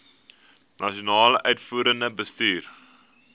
nasionale uitvoerende bestuur